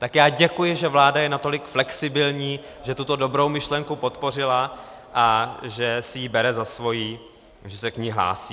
Tak já děkuji, že vláda je natolik flexibilní, že tuto dobrou myšlenku podpořila a že si ji bere za svou, že se k ní hlásí.